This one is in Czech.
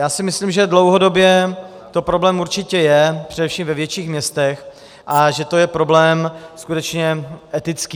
Já si myslím, že dlouhodobě to problém určitě je především ve větších městech a že to je problém skutečně etický.